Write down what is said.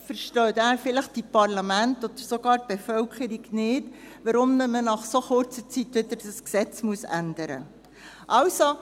Dies, weil die Parlamente oder sogar die Bevölkerung nicht verstünden, weshalb nach so kurzer Zeit das Gesetz wieder geändert werden muss.